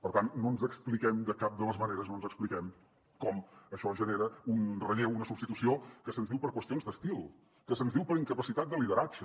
per tant no ens expliquem de cap de les maneres com això genera un relleu una substitució que se’ns diu per qüestions d’estil que se’ns diu per incapacitat de lideratge